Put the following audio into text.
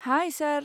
हाय सार।